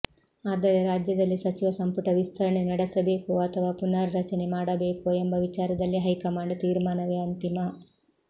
ಆದರೆ ರಾಜ್ಯದಲ್ಲಿ ಸಚಿವ ಸಂಪುಟ ವಿಸ್ತರಣೆ ನಡೆಸಬೇಕೋ ಅಥವಾ ಪುನರ್ ರಚನೆ ಮಾಡಬೇಕೋ ಎಂಬ ವಿಚಾರದಲ್ಲಿ ಹೈಕಮಾಂಡ್ ತೀರ್ಮಾನವೇ ಅಂತಿಮ